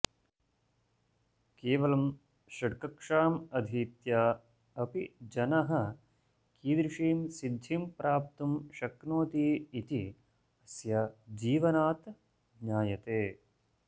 केवलं षड्कक्षाम् अधीत्य अपि जनः कीदृशीं सिद्धिं प्राप्तुं शक्नोति इति अस्य जीवनात् ज्ञायते